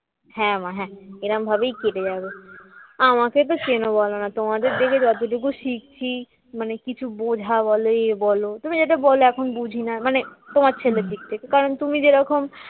হ্যাঁ মা হ্যাঁ এরকম ভাবেই কেটে যাবে, আমাকে তো চেনো বলো না তোমাদের দেখে যতটুকু শিখছি মানে কিছু বোঝা বল এ বলো তবে যেটা বলো এখন বুঝিনা মানে তোমার ছেলের দিক থেকে কারণ তুমি যে রকম